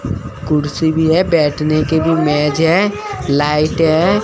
कुर्सी भी है बैठने के लिए मेज है लाइट है।